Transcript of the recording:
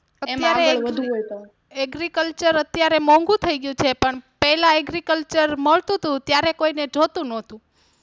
અત્યારે Agriculture અત્યારે મોંઘુ થઇ ગયું છે પણ પહેલા Agriculture મળતું તું ત્યારે કોઈને જોતું નહતું.